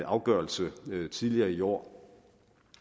afgørelse tidligere i år